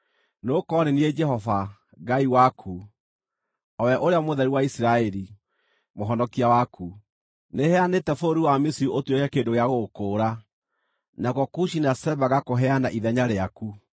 Nĩgũkorwo nĩ niĩ Jehova, Ngai waku, o we Ũrĩa Mũtheru wa Isiraeli, Mũhonokia waku; nĩheanĩte bũrũri wa Misiri ũtuĩke kĩndũ gĩa gũgũkũũra, nakuo Kushi na Seba ngakũheana ithenya rĩaku.